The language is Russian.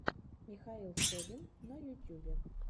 михаил собин на ютюбе